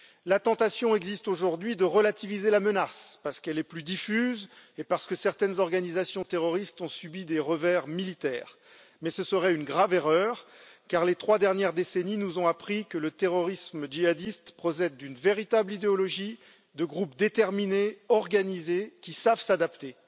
La tentation existe aujourd'hui de relativiser la menace, parce qu'elle est plus diffuse et parce que certaines organisations terroristes ont subi des revers militaires, mais ce serait une grave erreur, car les trois dernières décennies nous ont appris que le terrorisme djihadiste procède d'une véritable idéologie de groupes déterminés, organisés, qui savent s'adapter.